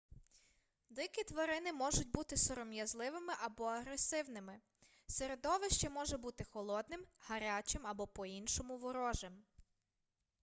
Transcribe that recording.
дикі тварини можуть бути сором'язливими або агресивними середовище може бути холодним гарячим або по-іншому ворожим